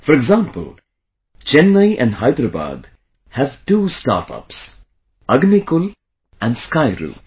For example, Chennai and Hyderabad have two startups Agnikul and Skyroot